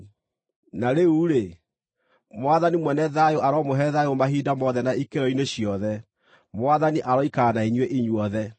Na rĩu-rĩ, Mwathani mwene thayũ aromũhe thayũ mahinda mothe na ikĩro-inĩ ciothe. Mwathani aroikara na inyuĩ inyuothe.